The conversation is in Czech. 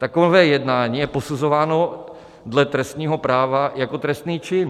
Takové jednání je posuzováno dle trestního práva jako trestný čin.